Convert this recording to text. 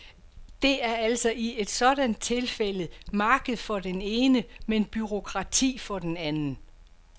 Det er altså i et sådant tilfælde marked for den ene, men bureaukrati for den anden.